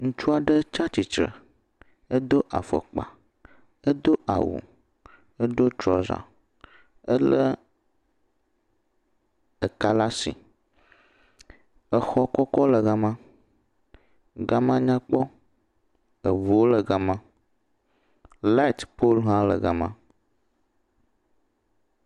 Ŋutsu aɖe tsi atsitre edo afɔkpa edo awu, edo trɔza elé eka la si exɔ kɔkɔ le gama, gama nyakpɔ, eŋuwo le gama light pole hã le gama.